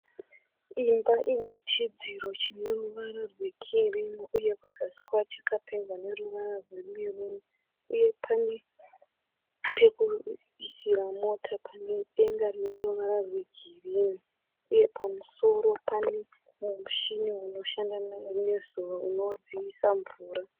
Imba inechidzidziro chineruvara rwekirimu uye kuzasi kwacho chakapendwa neruvara rwemeruni uye pane pekuisira mota pane denga rineruvara rwegirini uye pamusoro pane mushini unoshanda nezuva unodziyisa mvura.